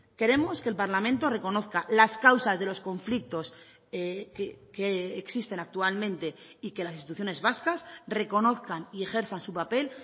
queremos que el parlamento reconozca las causas de los conflictos que existen actualmente y que las instituciones vascas reconozcan y ejerzan su papel